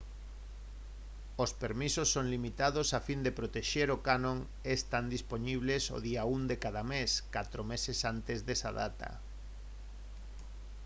os permisos son limitados a fin de protexer o canón e están dispoñibles o día 1 de cada mes catro meses antes desa data